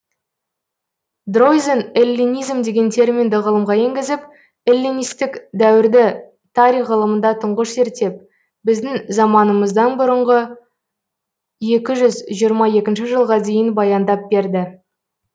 дройзен эллинизм деген терминді ғылымға енгізіп эллинистік дәуірді тарих ғылымында тұңғыш зерттеп біздің заманымыздан бұрынғы екі жүз жиырма екінші жылға дейін баяндап берді